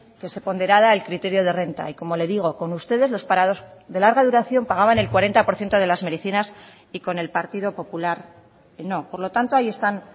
que se ponderara el criterio de renta y como le digo con ustedes los parados de larga duración pagaban el cuarenta por ciento de las medicinas y con el partido popular no por lo tanto ahí están